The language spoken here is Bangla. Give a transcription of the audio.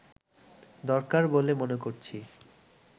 দরকার বলে মনে করছি